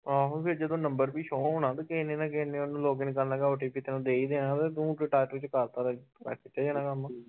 ਆਹੋ ਫਿਰ ਜਦੋ ਨੰਬਰ ਵੀ show ਹੋਣਾ ਤੇ ਕਿਹੇ ਨੇ ਤਾ ਕਿਹੇ ਨੇ ਓਹਨੂੰ login ਕਰਨ ਲੱਗਾ OTP ਤੈਨੂੰ ਦੇ ਈ ਦੇਣਾ ਤੇ ਤੂੰ